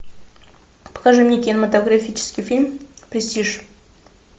покажи мне кинематографический фильм престиж